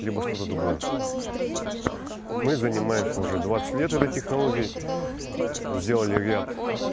либо что-то другое мы занимаемся уже двадцать лет этой технологии сделали ряд